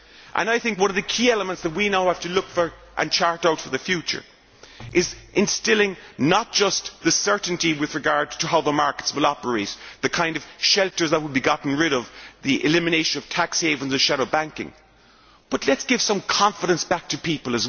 I think one of the key elements that we now have to look for and chart out for the future is instilling not just the certainty with regard to how the markets will operate, the kind of shelters that would be got rid of, the elimination of tax havens and shadow banking, but let us also give some confidence back to people.